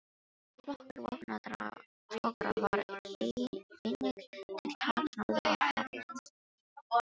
Flokkur vopnaðra togara var einnig til taks norður af Færeyjum.